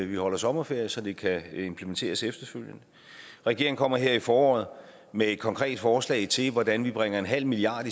vi holder sommerferie så det kan implementeres efterfølgende regeringen kommer her i foråret med et konkret forslag til hvordan vi bringer en halv milliard